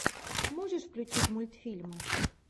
можешь включить мультфильмы